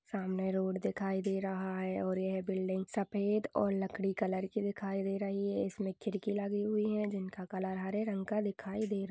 सामने रोड दिखाई दे रहा है और यह बिल्डिंग सफ़ेद और लकड़ी कलर की दिखाई दे रही है इसमे खिड़की लगी हुई है जिनका कलर हरे रंग का दिखाई दे रह--